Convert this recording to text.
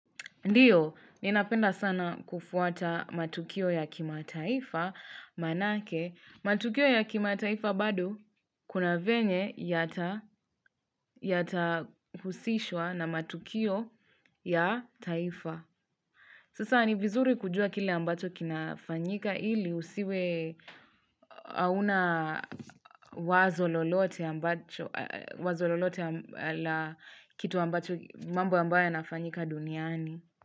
Ndiyo ninapenda sana kufuata matukio ya kimataifa maanake matukio ya kimataifa bado kuna venye yatahusishwa na matukio ya taifa Sasa ni vizuri kujua kile ambacho kinafanyika ili usiwe hauna wazo lolote la kitu ambacho mambo ambayo yanafanyika duniani.